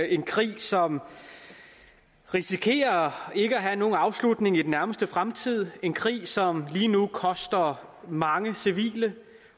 en krig som risikerer ikke at have nogen afslutning i den nærmeste fremtid en krig som lige nu koster mange civile